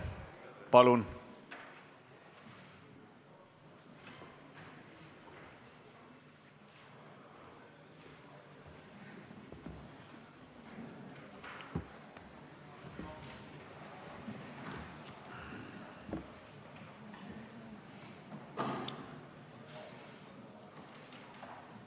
Palun!